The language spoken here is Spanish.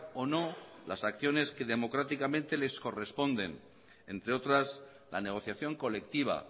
o no las acciones que democráticamente les corresponden entre otras la negociación colectiva